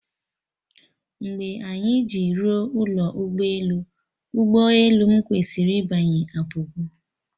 Mgbe anyị ji ruo ụlọ ụgbọ elu, ụgbọ elu m kwesịrị ịbanye apụgo